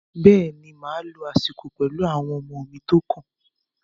Bẹ́ẹ̀ ni, màá lo àsìkò pẹ̀lú àwọn ọmọ mi tó kàn